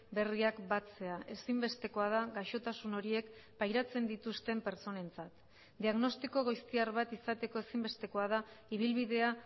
berriak batzea ezinbestekoa da gaixotasun horiek pairatzen dituzten pertsonentzat diagnostiko goiztiar bat izateko ezinbestekoa da ibilbidea